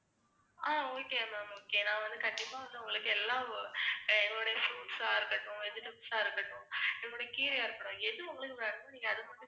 ஆஹ் okay ma'am okay நான் வந்து கண்டிப்பா வந்து உங்களுக்கு எல்லாம், அஹ் எங்களுடைய fruits ஆ இருக்கட்டும், vegetables ஆ இருக்கட்டும், நம்முடைய கீரையா இருக்கட்டும், எது உங்களுக்கு வேணுமோ நீங்க அத மட்டும்